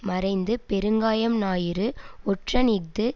மறைந்து பெருங்காயம் ஞாயிறு ஒற்றன் இஃது